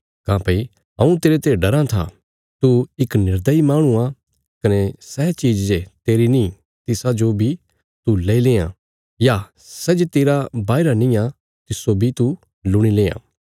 काँह्भई हऊँ तेरते डराँ था तू इक निर्दयी माहणु आ कने सै चीज़ जे तेरी नीं तिसाजो बी तू लेई लेआं या सै जे तेरा बाहीरा निआं तिस्सो बी तूं लुणि लेआं